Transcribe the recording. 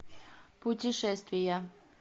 путешествия